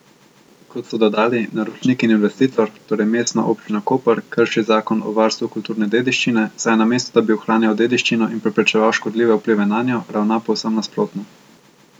Kot so dodali, naročnik in investitor, torej Mestna občina Koper, krši zakon o varstvu kulturne dediščine, saj namesto da bi ohranjal dediščino in preprečeval škodljive vplive nanjo, ravna povsem nasprotno.